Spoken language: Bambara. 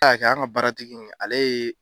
A a y'a kɛ an ga baaratigi in ale ye